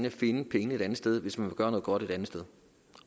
og finde pengene et andet sted hvis man vil gøre noget godt ét sted